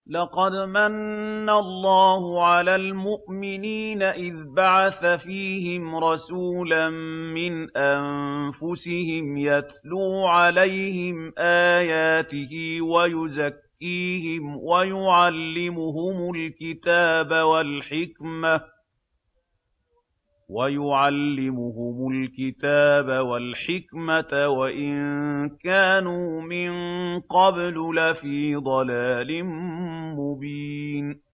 لَقَدْ مَنَّ اللَّهُ عَلَى الْمُؤْمِنِينَ إِذْ بَعَثَ فِيهِمْ رَسُولًا مِّنْ أَنفُسِهِمْ يَتْلُو عَلَيْهِمْ آيَاتِهِ وَيُزَكِّيهِمْ وَيُعَلِّمُهُمُ الْكِتَابَ وَالْحِكْمَةَ وَإِن كَانُوا مِن قَبْلُ لَفِي ضَلَالٍ مُّبِينٍ